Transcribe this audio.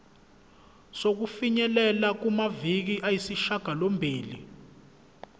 sokufinyelela kumaviki ayisishagalombili